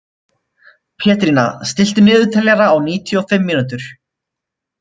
Pétrína, stilltu niðurteljara á níutíu og fimm mínútur.